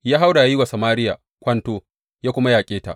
Ya haura ya yi wa Samariya kwanto, ya kuma yaƙe ta.